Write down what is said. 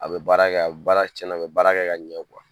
A bɛ baara kɛ , a baara tiɲɛna a bɛ baara kɛ ka ɲɛ